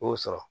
O y'o sɔrɔ